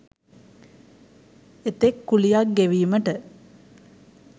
එතෙක් කුලියක් ගෙවීමට